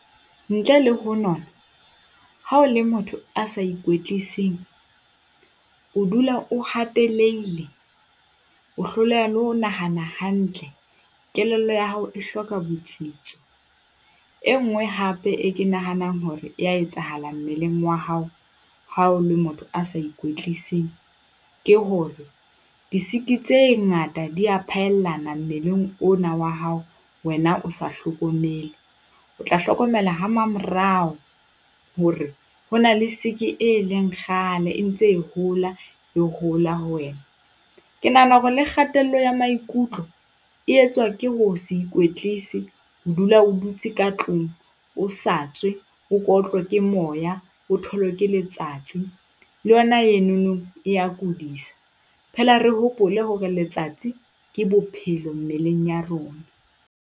Ntle le ho nona ha o le motho a sa o dula o hatelehile, o hloleha le ho nahana hantle, kelello ya hao e hloka botsitso. E nngwe, hape e ke nahanang hore e a etsahala mmeleng wa hao ha o le motho a sa ikwetleiseng ke hore disiki tse ngata di a phaellana mmeleng ona wa hao wena o sa hlokomele. O tla hlokomela ha mamorao hore ho na le siki e leng kgale e ntse e hola e hola ho wena. Ke nahana hore le kgatello ya maikutlo e etswa ke ho se ikwetlise ho dula o dutse ka tlung o sa tswe o ke otlwe ke moya. O tholwe ke letsatsi le yona eno e a kudisa, phela re hopole hore letsatsi ke bophelo mmeleng ya rona.